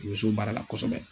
U bɛ s'o baara la kosɛbɛ.